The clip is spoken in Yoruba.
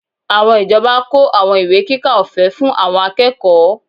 Àwọn ìjọba kó àwọn ìwé kíkà ọ̀fẹ́ fún àwọn akẹ́kọ̀ọ́